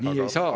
Aitäh!